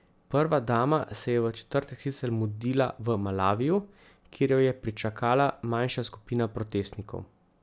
Prva dama se je v četrtek sicer mudila v Malaviju, kjer jo je pričakala manjša skupina protestnikov.